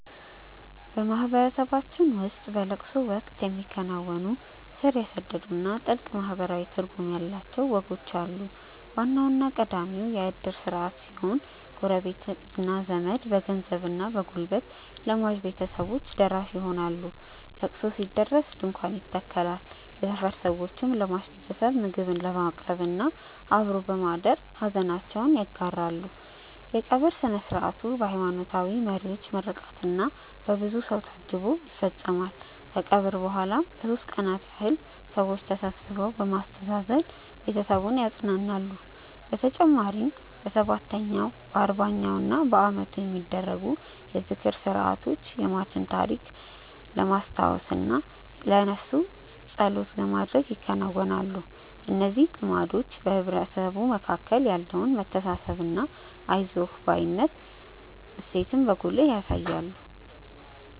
በማህበረሰባችን ውስጥ በለቅሶ ወቅት የሚከናወኑ ስር የሰደዱና ጥልቅ ማህበራዊ ትርጉም ያላቸው ወጎች አሉ። ዋናውና ቀዳሚው የእድር ስርዓት ሲሆን፣ ጎረቤትና ዘመድ በገንዘብና በጉልበት ለሟች ቤተሰቦች ደራሽ ይሆናሉ። ለቅሶ ሲደርስ ድንኳን ይተከላል፣ የሰፈር ሰዎችም ለሟች ቤተሰብ ምግብ በማቅረብና አብሮ በማደር ሐዘናቸውን ይጋራሉ። የቀብር ሥነ ሥርዓቱ በሃይማኖታዊ መሪዎች ምርቃትና በብዙ ሰው ታጅቦ ይፈጸማል። ከቀብር በኋላም ለሦስት ቀናት ያህል ሰዎች ተሰብስበው በማስተዛዘን ቤተሰቡን ያጸናናሉ። በተጨማሪም በሰባተኛው፣ በአርባኛውና በዓመቱ የሚደረጉ የዝክር ሥርዓቶች የሟችን ታሪክ ለማስታወስና ለነፍሱ ጸሎት ለማድረግ ይከናወናሉ። እነዚህ ልማዶች በማህበረሰቡ መካከል ያለውን መተሳሰብና የአይዞህ ባይነት እሴትን በጉልህ ያሳያሉ።